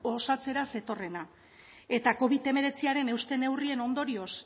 osatzera zetorrena eta covid hemeretziaren euste neurrien ondorioz